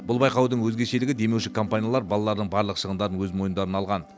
бұл байқаудың өзгешелігі демеуші компаниялар балалардың барлық шығындарын өз мойындарына алған